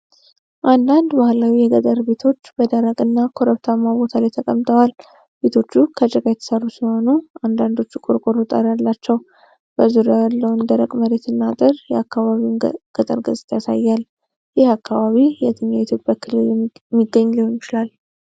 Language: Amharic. አንዳንድ ባህላዊ የገጠር ቤቶች በደረቅና ኮረብታማ ቦታ ላይ ተቀምጠዋል። ቤቶቹ ከጭቃ የተሰሩ ሲሆኑ አንዳንዶቹ ቆርቆሮ ጣሪያ አላቸው። በዙሪያው ያለውን ደረቅ መሬትና አጥር የአካባቢውን ገጠር ገጽታ ያሳያል። ይህ አካባቢ የትኛው የኢትዮጵያ ክልል የሚገኝ ሊሆን ይችላል?